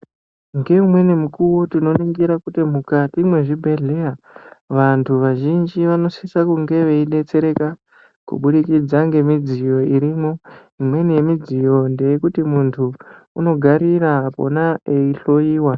Ngeimweni mukuwo tinoringira kuti mukati mwezvibhehleya vantu vazhinji vanosisa kunga veidetsereka kubudikidza ngemidziyo irimwo imweni yemidziyo ndekuti muntu unongarira pona eihloiyiwa.